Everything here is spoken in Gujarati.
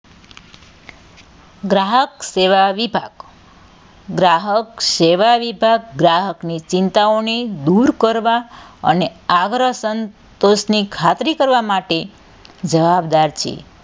ગ્રાહક સેવા વિભાગ ગ્રાહક સેવા વિભાગ ગ્રાહકની ચિંતાઓની દુર કરવા અને આવરાં સંતોષની ખાતરી કરવાં માટે જવાબદાર છે.